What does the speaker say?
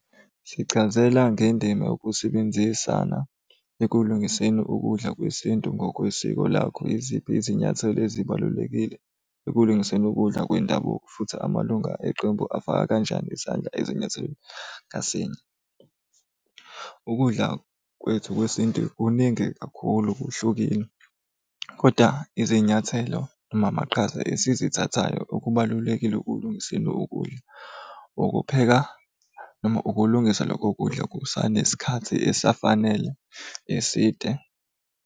Sichazela ngendima yokusebenzisana ekulungiseni ukudla kwesintu ngokwesiko lakho. Yiziphi izinyathelo ezibalulekile ekulungiseni ukudla kwendabuko, futhi amalunga eqembu afaka kanjani isandla ezinyathelweni ngasinye? Ukudla kwethu kwesintu kuningi kakhulu kuhlukile koda izinyathelo noma amaqhaza esizithathayo okubalulekile ukulungiseni ukudla, ukupheka noma ukulungisa lokho kudla kusanesikhathi esafanele eside.